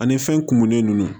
Ani fɛn kumunen ninnu